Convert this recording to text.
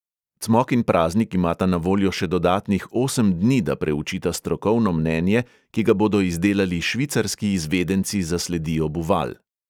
Cmok in praznik imata na voljo še dodatnih osem dni, da preučita strokovno mnenje, ki ga bodo izdelali švicarski izvedenci za sledi obuval.